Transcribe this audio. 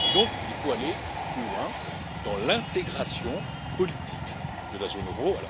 Il faut donc aller plus loin dans l'intégration politique de la zone euro.